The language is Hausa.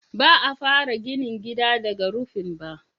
Ba a fara ginin gida daga rufin ba.